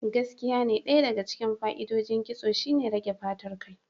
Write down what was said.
Gaskiyane, Ɗaya daga cikin fa'idodin ƙitso shine rage fatar kai.